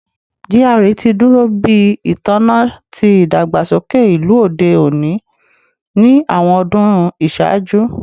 GRA ti duro bi itanna ti idagbasoke ilu ode oni ni awọn ọdun iṣaaju